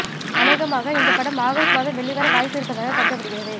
அனேகமாக இந்த படம் ஆகஸ்ட் மாதம் வெளிவர வாய்ப்பு இருப்பதாக கருதப்படுகிறது